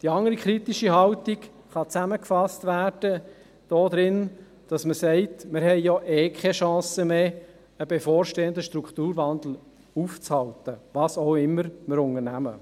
Die andere kritische Haltung kann damit zusammengefasst werden, dass man sagt: Wir haben ja eh keine Chance mehr, einen bevorstehenden Strukturwandel aufzuhalten, was immer wir auch unternehmen.